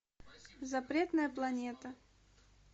запретная планета